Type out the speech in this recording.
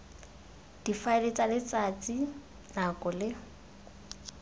difaele tsa letsatsi nako le